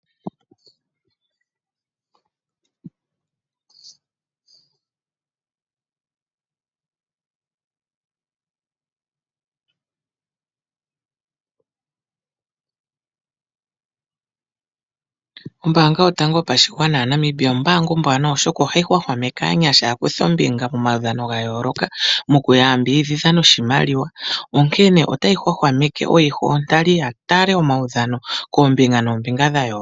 Ombaanga yontango yopashigwana yaNamibia ombaanga ombwaanawa oshoka ohai hwahwameke aanyasha ya kuthe ombinga monaudhano gayooloka moku ya ambidhidha noshimaliwa onkene otayi hwahwamenke oyiho yontali yatale omaudhano koombinga nombinga.